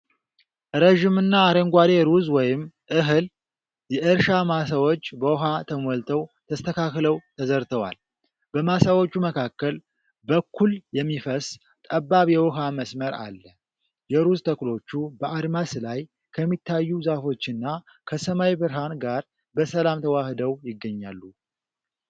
ረዥምና አረንጓዴ ሩዝ ወይም እህል የእርሻ ማሳዎች በውሃ ተሞልተው ተስተካክለው ተዘርተዋል። በማሳዎቹ መካከል በኩል የሚፈስ ጠባብ የውኃ መስመር አለ። የሩዝ ተክሎቹ በአድማስ ላይ ከሚታዩ ዛፎችና ከሰማይ ብርሃን ጋር በሰላም ተዋህደው ይገኛሉ።